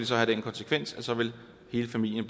så have den konsekvens at så vil hele familien